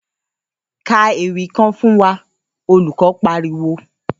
‘Ka ewì kan fún wa!’, olùko̩ pariwo